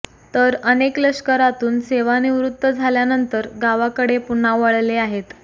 तर अनेक लष्करातून सेवानिवृत्त झाल्यानंतर गावाकडे पुन्हा वळले आहेत